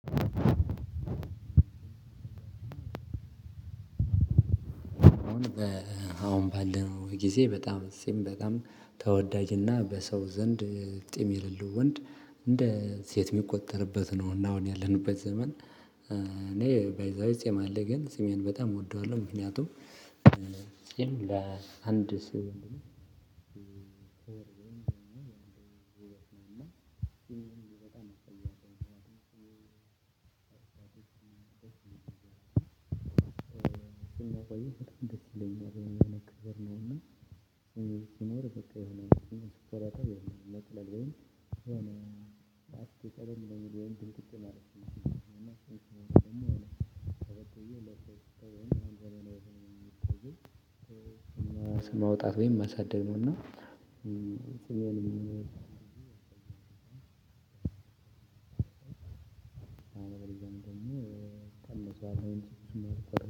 አሁን ባለነው ጊዜ በጣም ጺም በጣም ተወዳጅና በሰው ዘንድ ጺም የሌለው ወንድ እንደ ሴት የሚቆጠርበት ነው እና አሁን ያለንበት ዘመን። እኔ ባይዘዌይ ጺም አለገኝ ግን ጲሜን በጣም እወደዋለሁ ምክንያቱም ጺም አንድ ስዕልን እና በጣም ደሰ ይለኛል የሆነ ክብር ነው። የምለው በቃ የሆነ ስፖርታዊ ነጥላል ወይም ሆነ አስቀረም ወይም ድምጽጭን አለች የሚለው እና ትክክል ነው የሚሆነው። ማውጣት ወይም ማሳደግ ነው። እና ጺሜን አንድ ሁለት ሶስት ቀን መስዋዕት።